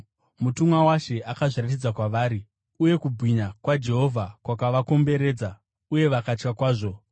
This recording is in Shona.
Mutumwa waShe akazviratidza kwavari, uye kubwinya kwaJehovha kwakavakomberedza, uye vakatya kwazvo.